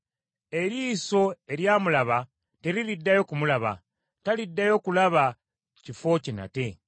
Eriiso eryamulaba teririddayo kumulaba, taliddayo kulaba kifo kye nate.